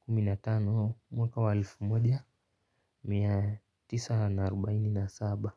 kumi na tano mwaka wa elfu moja mia tisa na arubaini na saba.